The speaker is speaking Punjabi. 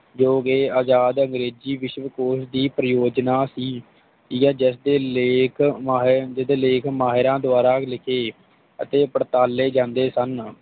ਜੋਕੇ ਅਜਾਦ ਅੰਗਰੇਜ਼ੀ ਵਿਸ਼ਵਕੋਸ਼ ਦੀ ਪ੍ਰੋਉਜਨਾ ਦੀ ਪੀ ਆਰ ਜੇਰਲੇਖ ਮਾਹਿਰ ਜਦੋ ਲੇਖ ਮਾਹਿਰਾਂ ਦਵਾਰਾ ਲਿਖੇ ਅਤੇ ਪੜਤਾਲੇ ਜਾਂਦੇ ਸਨ